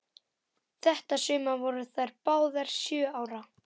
Þetta sumar voru þær báðar sjö ára.